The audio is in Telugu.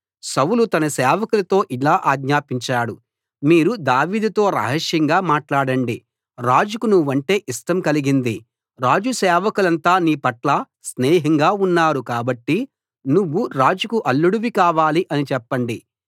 సౌలు తన సేవకులతో ఇలా ఆజ్ఞాపించాడు మీరు దావీదుతో రహస్యంగా మాట్లాడండి రాజుకు నువ్వంటే ఇష్టం కలిగింది రాజు సేవకులంతా నీపట్ల స్నేహంగా ఉన్నారు కాబట్టి నువ్వు రాజుకు అల్లుడివి కావాలి అని చెప్పండి